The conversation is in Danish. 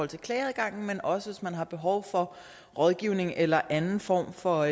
til klageadgangen men også hvis man har behov for rådgivning eller anden form for